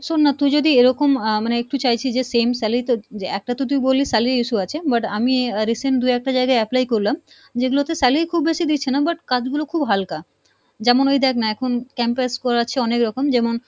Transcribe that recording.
শোন না তু যদি এরকম আহ মানে তু চাইছি যে same salary তো যে একটা তু তো বললি salary issue আছে but আমি আহ recent দুই একটা জায়গায় apply করলাম যেগুলোতে salary খুব বেশি দিচ্ছে না but কাজগুলো খুব হালকা, যেমন ওই দেখ না এখন campus বেড়াচ্ছে অনেক রকম যেমন,